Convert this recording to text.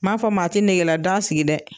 Ma fɔ maa ti negela daga sigi dɛ!